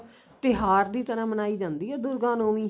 ਤਿਉਹਾਰ ਦੀ ਤਰ੍ਹਾਂ ਮਨਾਈ ਜਾਂਦੀ ਏ ਦੁਰਗਾ ਨੋਵੀਂ